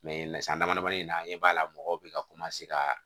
san damadamanin in na an ɲɛ b'a la mɔgɔw bɛ ka ka